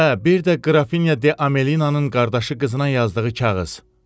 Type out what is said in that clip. Hə, bir də Qrafinya De Amelinanın qardaşı qızına yazdığı kağız.